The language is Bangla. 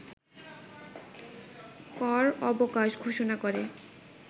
কর অবকাশ ঘোষণা করে